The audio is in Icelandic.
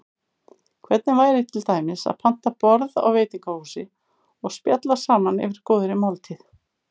Hvernig væri til dæmis að panta borð á veitingahúsi og spjalla saman yfir góðri máltíð?